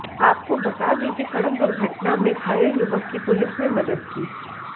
आपको बता दें कि सड़क दुर्घटना में घायल युवक की पुलिस ने मदद की